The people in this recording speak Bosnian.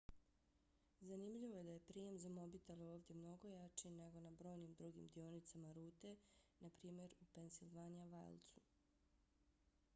zanimljivo je da je prijem za mobitele ovdje mnogo jači nego na brojnim drugim dionicama rute npr. u pennsylvania wildsu